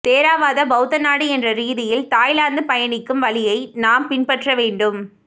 தேரவாத பௌத்த நாடு என்ற ரீதியில் தாய்லாந்து பயணிக்கும் வழியை நாம் பின்பற்ற வேண்டும்